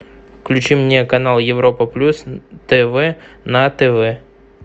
включи мне канал европа плюс тв на тв